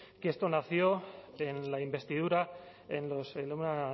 que esto nació en la investidura en una